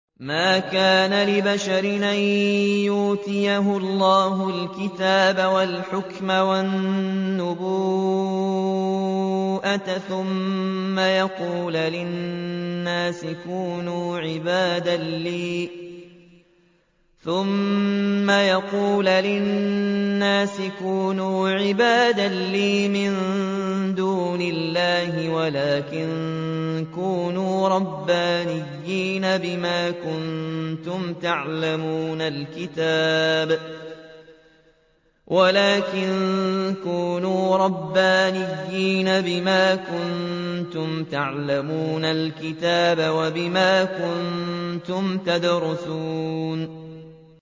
مَا كَانَ لِبَشَرٍ أَن يُؤْتِيَهُ اللَّهُ الْكِتَابَ وَالْحُكْمَ وَالنُّبُوَّةَ ثُمَّ يَقُولَ لِلنَّاسِ كُونُوا عِبَادًا لِّي مِن دُونِ اللَّهِ وَلَٰكِن كُونُوا رَبَّانِيِّينَ بِمَا كُنتُمْ تُعَلِّمُونَ الْكِتَابَ وَبِمَا كُنتُمْ تَدْرُسُونَ